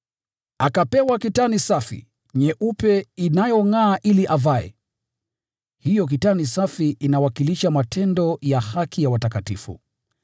Akapewa kitani safi, nyeupe inayongʼaa, ili avae.” (Hiyo kitani safi inawakilisha matendo ya haki ya watakatifu.)